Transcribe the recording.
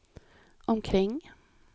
omkring